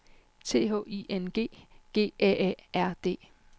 T H I N G G A A R D